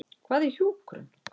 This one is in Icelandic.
Hvað er hjúkrun?